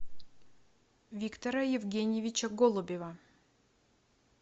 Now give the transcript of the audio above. виктора евгеньевича голубева